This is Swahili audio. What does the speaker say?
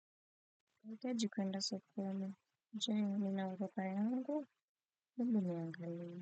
Nahitaji kuenda sokoni. Je, nina mkoba yangu? Ebu niangalie.